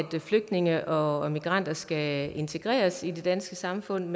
flygtninge og migranter skal integreres i det danske samfund